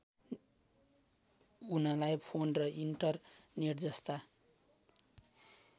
उनलाई फोन र इन्टरनेटजस्ता